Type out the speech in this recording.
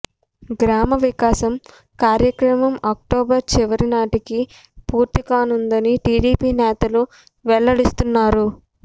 గ్రామవికాసం కార్యక్రమం అక్టోబర్ చివరి నాటికి పూర్తి కానుందని టీడీపీ నేతలు వెల్లడిస్తున్నారు